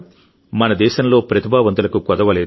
మన దేశంలో ప్రతిభావంతులకు కొదవలేదు